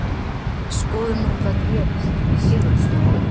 Skoðum nú hvað gerist í segulsviðinu.